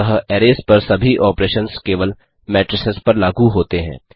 अतः अरैज पर सभी ऑपरेशंस केवल मेट्रिसेस पर लागू होते हैं